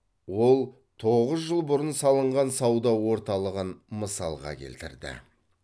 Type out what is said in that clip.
ол тоғыз жыл бұрын салынған сауда орталығын мысалға келтірді